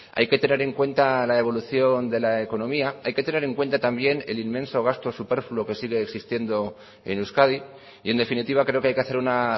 hay que tener en cuenta la evolución de la economía hay que tener en cuenta también el inmenso gasto superfluo que sigue existiendo en euskadi y en definitiva creo que hay que hacer una